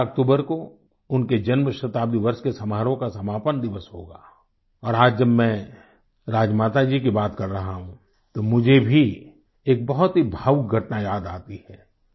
इस 12 अक्टूबर को उनके जन्म शताब्दी वर्ष के समारोह का समापन दिवस होगा और आज जब मैं राजमाता जी की बात कर रहा हूँ तो मुझे भी एक बहुत ही भावुक घटना याद आती है